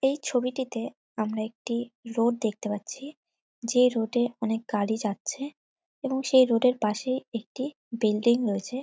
এই ছবিটিতে আমরা একটি রোড দেখতে পাচ্ছি যে রোড -এ অনেক গাড়ি যাচ্ছে এবং সেই রোড -এর পাশেই একটি বিল্ডিং রয়েছে ।